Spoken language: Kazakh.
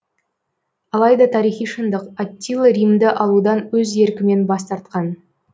алайда тарихи шындық аттила римді алудан өз еркімен бас тартқан